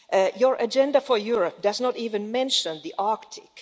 Your agenda for Europe does not even mention the Arctic.